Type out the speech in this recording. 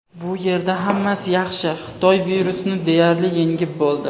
Bu yerda hammasi yaxshi, Xitoy virusni deyarli yengib bo‘ldi.